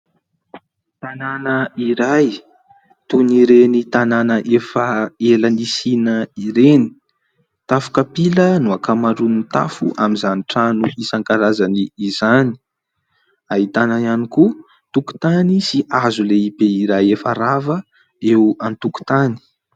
Tanàna iray toy ny ireny tanàna efa ela nisiana ireny, tafo kapila no ankamaroan'ny tafo amin'izany trano isan-karazany izany, ahitana ihany koa tokotany sy hazo lehibe iray efa rava eo an-tokotany.